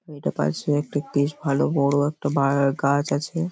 এটার পাশে একটা বেশ ভালো বড় একটা বাগা গাছ আছে।